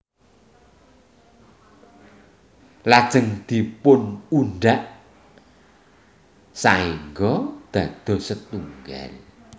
Lajeng dipunudhak saéngga dados setunggal